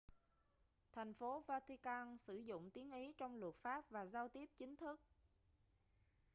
thành phố vatican sử dụng tiếng ý trong luật pháp và giao tiếp chính thức